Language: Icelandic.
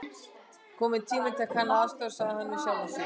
Kominn tími til að kanna aðstæður sagði hann við sjálfan sig.